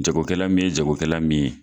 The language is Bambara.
Jago kɛla min ye jago kɛla min ye.